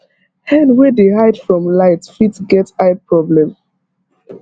hen wey dey hide from light fit get eye problem